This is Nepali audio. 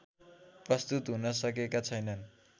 प्रस्तुत हुनसकेका छैनन्